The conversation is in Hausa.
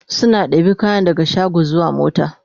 suna ɗebi kayan daga shago zuwa mota